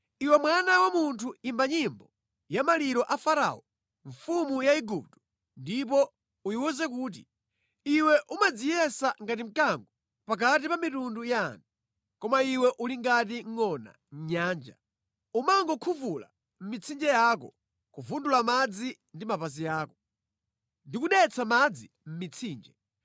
“Iwe mwana wa munthu imba nyimbo ya maliro a Farao mfumu ya Igupto ndipo uyiwuze kuti, “Iwe umadziyesa ngati mkango pakati pa mitundu ya anthu. Koma iwe uli ngati ngʼona mʼnyanja. Umakhuvula mʼmitsinje yako, kuvundula madzi ndi mapazi ako ndi kudetsa madzi mʼmitsinje.